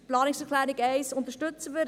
Die Planungserklärung 1 unterstützen wir.